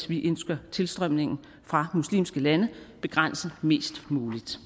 vi ønsker tilstrømningen fra muslimske lande begrænset mest muligt